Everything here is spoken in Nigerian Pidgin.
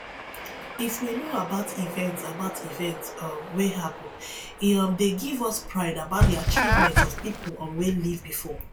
if we know about events about events um wey happen e um dey give us pride about di achievement of pipo um wey ilve before